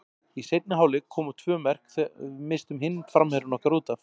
Í seinni hálfleik koma tvö mörk þegar við misstum hinn framherjann okkar útaf.